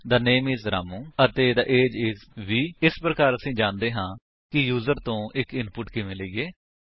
the name is Ramu ਅਤੇ the age is 20 ਇਸ ਪ੍ਰਕਾਰ ਅਸੀ ਜਾਣਦੇ ਹਾਂ ਕਿ ਯੂਜਰ ਤੋ ਇੱਕ ਇਨਪੁਟ ਕਿਵੇਂ ਲਈਏ